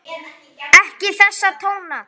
Ekki þessa tóna!